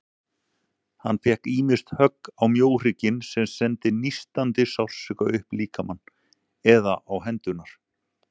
Hann fékk ýmist högg á mjóhrygginn, sem sendi nístandi sársauka upp líkamann, eða á hendurnar.